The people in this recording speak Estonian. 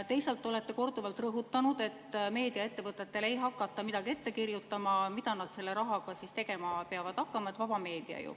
Teisalt olete korduvalt rõhutanud, et meediaettevõtetele ei hakata midagi ette kirjutama, mida nad selle rahaga tegema peavad, vaba meedia ju.